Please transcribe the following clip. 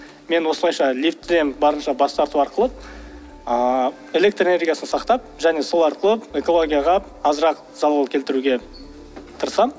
мен осылайша лифттен барынша бас тарту арқылы ыыы электроэнергиясын сақтап және сол арқылы экологияға азырақ залал келтіруге тырысамын